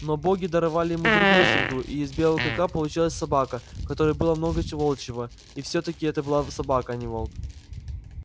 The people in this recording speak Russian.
но боги даровали ему другую среду и из белого клыка получилась собака в которой было много волчьего и все таки это была собака а не волк